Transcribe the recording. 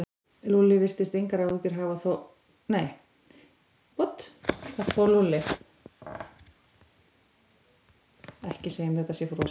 Þessi mælieining hefur þó þann galla, ólíkt til dæmis mælieiningum metrakerfisins, að vera síbreytileg.